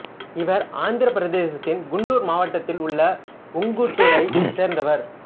இவர் ஆந்திரப் பிரதேசத்தின் குண்டூர் மாவட்டத்தில் உள்ள உங்குட்டூரைச் சேர்ந்தவர்